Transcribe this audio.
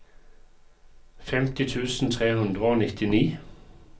femti tusen tre hundre og nittini